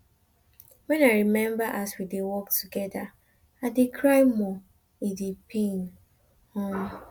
wen i rememba as we dey work togeda i dey cry more e dey pain um